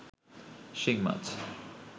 শিং মাছ